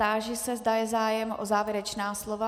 Táži se, zda je zájem o závěrečná slova.